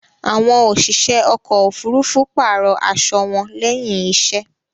Àwọn òṣìṣẹ́ ọkò òfurufú pààrò aṣo wọn lẹ́hìn iṣẹ́.